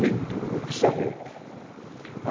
Lindo, precisa ver.